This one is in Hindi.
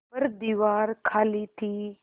पर दीवार खाली थी